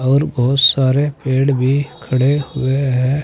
और बहुत सारे पेड़ भी खड़े हुए है।